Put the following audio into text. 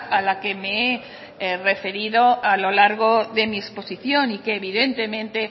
a la que me he referido a lo largo de mi exposición y que evidentemente